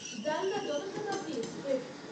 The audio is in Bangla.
জলনা জনশতাব্দী এক্সপ্রেস